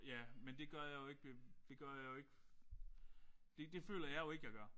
Men det gør jeg jo ikke det gør jeg jo ikke det det føler jeg jo ikke jeg gør